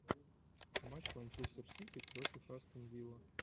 матч манчестер сити против астон вилла